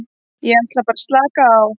Ég er bara að slaka á.